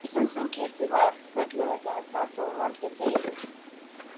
Ísinn sem keyptur var hvern laugardag gat þó valdið deilum.